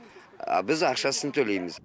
а біз ақшасын төлейміз